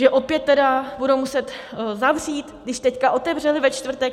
Že opět tedy budou muset zavřít, když teď otevřeli ve čtvrtek?